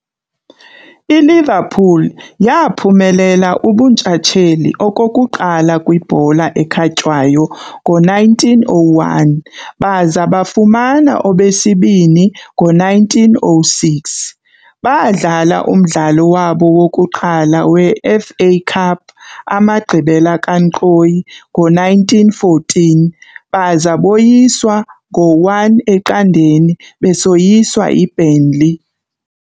ILiverpool yaaphumelela ubuntshatsheli okokuqala kwibhola ekhatywayo ngo1901, baza bafumana obesibini ngo1906. Baadlala umdlalo wabo wokuqala weFA CUP amagqibela kankqoyi ngo-1914, baza boyiswa ngo-1-0 besoyiswa yiBurnley.